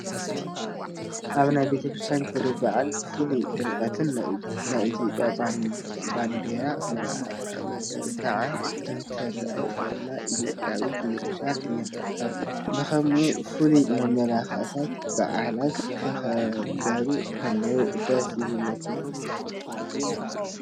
ኣብ ናይ ቤተ ክርስትያን ክብረ በዓል ብፍሉይ ድምቀትን ናይ ኢ/ያ ባንደዴራ መልክዓን እትረኣይ ዘላ ኦርቶዶክሳዊት ቤተ ክርስትያን እያ፡፡ ብኸምዚ ፍሉይ መመላኽዕታት ባዓላት ክኽበሩ ከለው ደስ ኦ ይብለኩም